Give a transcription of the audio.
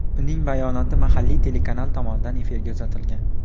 Uning bayonoti mahalliy telekanal tomonidan efirga uzatilgan.